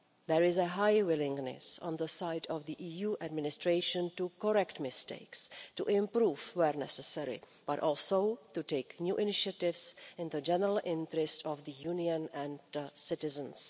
There is a high willingness on the side of the EU administration to correct mistakes, to improve where necessary but also to take new initiatives in the general interest of the Union and the citizens.